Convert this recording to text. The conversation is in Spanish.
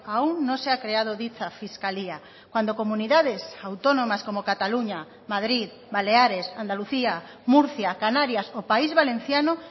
aún no se ha creado dicha fiscalía cuando comunidades autónomas como cataluña madrid baleares andalucía murcia canarias o país valenciano